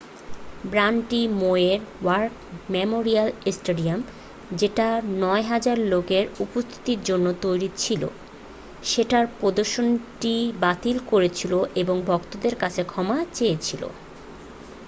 ব্যাণ্ডটি মইয়ের war memorial stadium যেটা 9000 লোক এর উপস্থিতির জন্য তৈরি ছিল সেটার প্রদর্শনীটি বাতিল করেছিল এবং ভক্তদের কাছে ক্ষমা চেয়েছিল